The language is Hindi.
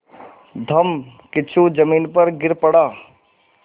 धम्मकिच्चू ज़मीन पर गिर पड़ा